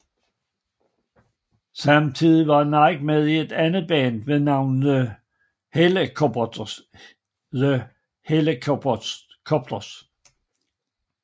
Samtidig var Nicke med i et andet band ved navn The Hellacopters